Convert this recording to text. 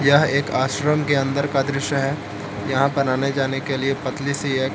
यह एक आश्रम के अंदर का दृश्य है यहां पर आने जाने के लिए पतली सी एक--